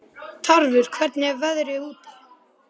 Tarfur, hvernig er veðrið úti?